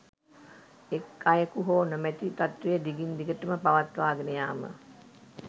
එක් අයකු හෝ නොමැති තත්ත්වය දිගින් දිගටම පවත්වාගෙන යාම